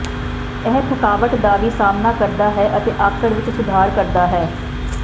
ਇਹ ਥਕਾਵਟ ਦਾ ਵੀ ਸਾਹਮਣਾ ਕਰਦਾ ਹੈ ਅਤੇ ਆਕੜ ਵਿਚ ਸੁਧਾਰ ਕਰਦਾ ਹੈ